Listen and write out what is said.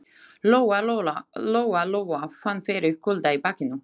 Lóa-Lóa fann fyrir kulda í bakinu.